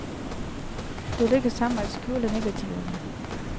Det lykkedes ham at skjule negativerne.